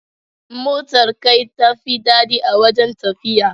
Motar kai tafi daɗi a wajen tafiya.